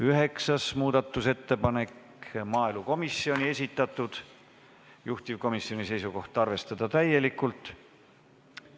Üheksas muudatusettepanek, maaelukomisjoni esitatud, juhtivkomisjoni seisukoht: arvestada täielikult.